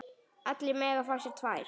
Allir mega fá sér tvær.